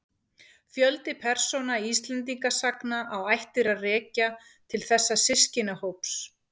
Fjöldi persóna Íslendingasagna á ættir að rekja til þessa systkinahóps.